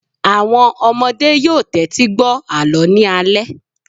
Àwọn ọmọdé yóò wá tẹ́tí gbọ́ àlọ́ ní alẹ́